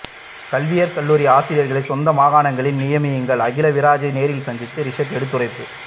கல்வியற் கல்லூரி ஆசிரியர்களை சொந்த மாகாணங்களில் நியமியுங்கள் அகிலவிராஜை நேரில் சந்தித்து றிஷாட் எடுத்துரைப்பு